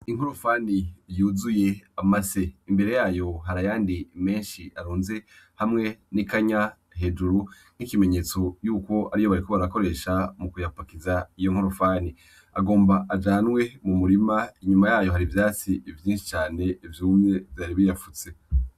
Inkorofani yuzuye amase. Imbere yayo hari ayandi menshi arunze hamwe n’ikanya hejuru nk’ikimenyetso yuko ariyo bariko barakoresha mu kuyapakiza iyo nkorofani. Agomba ajanwe mu murima, inyuma yayo hari ivyatsi vyinshi cane vyumye vyari biyapfutse.